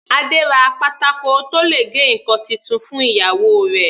Adé ra pátákó tó le gé ǹkan titun fún ìyàwó rẹ̀.